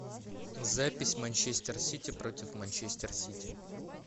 запись манчестер сити против манчестер сити